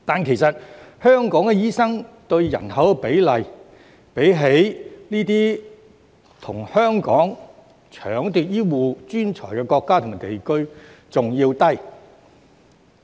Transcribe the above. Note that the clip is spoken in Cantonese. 其實，香港的醫生對人口比例，比這些與香港搶奪醫護專才的國家和地區更低。